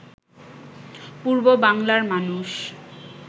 পূর্ব বাংলার মানুষ